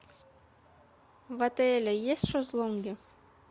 в отеле есть шезлонги